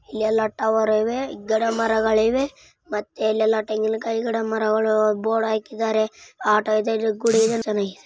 ಎಲ್ಲಾ ಟವರ್ ಇವೆ ಗಿಡ ಮರಗಳಿವೆ ಮತ್ತೆ ಇಲ್ಲೆಲ್ಲ ತೆಂಗಿನಕಾಯಿ ಗಿಡ ಮರಗಳು ಬೋರ್ಡ್ ಹಾಕಿದರೆ ಆಟೋ ಇದೆ. ಇಲ್ಲಿ ಗುಡಿನೂ ಚೆನ್ನಾಗಿದೆ.